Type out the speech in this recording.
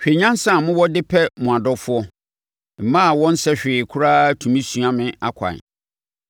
Hwɛ nyansa a mowɔ de pɛ mo adɔfoɔ! Mmaa a wɔnsɛ hwee koraa tumi sua mo akwan.